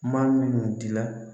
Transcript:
Maa minnu dila